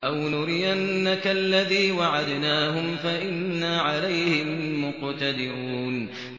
أَوْ نُرِيَنَّكَ الَّذِي وَعَدْنَاهُمْ فَإِنَّا عَلَيْهِم مُّقْتَدِرُونَ